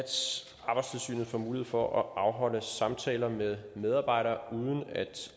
arbejdstilsynet får mulighed for at afholde samtaler med medarbejdere uden at